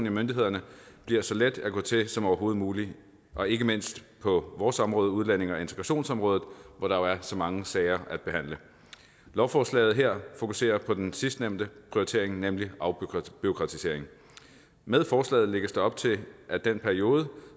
i myndighederne bliver så let at gå til som overhovedet muligt og ikke mindst på vores område udlændinge og integrationsområdet hvor der jo er så mange sager at behandle lovforslaget her fokuserer på den sidstnævnte prioritering nemlig afbureaukratisering med forslaget lægges der op til at den periode